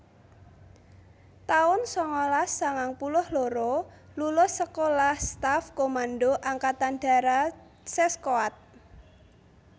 taun sangalas sangang puluh loro Lulus Sekolah Staff Komando Angkatan Darat Seskoad